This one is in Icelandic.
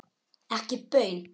Ekki baun.